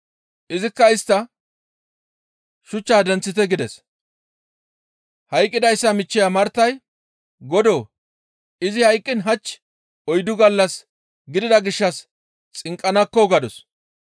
Izikka istta, «Shuchchaa denththite!» gides; hayqqidayssa michcheya Martay, «Godoo! Izi hayqqiin hach oyddu gallas gidida gishshas xinqqanakko!» gadus.